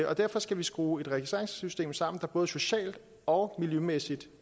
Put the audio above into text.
og derfor skal vi skrue et registreringssystem sammen er både socialt og miljømæssigt